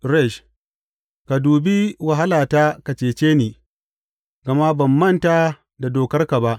Resh Ka dubi wahalata ka cece ni, gama ban manta da dokarka ba.